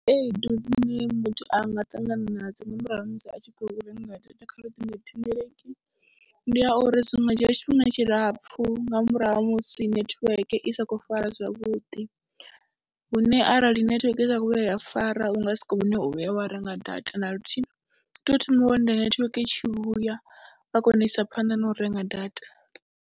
Khaedu dzine muthu a nga ṱangana nadzo nga murahu ha musi a tshi khou renga data kha luṱingothendeleki, ndi ya uri zwi nga dzhia tshifhinga tshilapfhu nga murahu ha musi netiweke i sa khou fara zwavhuḓi, hune arali nethiweke i sa khou vhuya ya fara u nga si kone u vhuya wa renga data na luthihi, u tea u thoma wa lindela netiweke i tshi vhuya waa kona u isa phanḓa na u renga data.